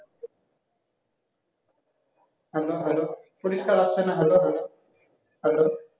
hello hello পরিষ্কার আসছেনা hello hello